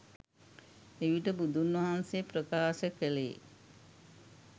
එවිට බුදුන්වහන්සේ ප්‍රකාශ කෙළේ